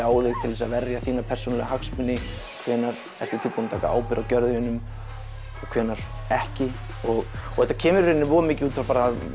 á þig til að verja þína persónulegu hagsmuni hvenær ertu tilbúinn að taka ábyrgð á gjörðum þínum og hvenær ekki og og þetta kemur í rauninni voða mikið út frá